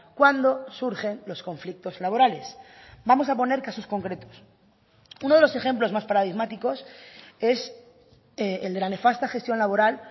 cuando surgen los conflictos laborales vamos a poner casos concretos uno de los ejemplos más paradigmáticos es el de la nefasta gestión laboral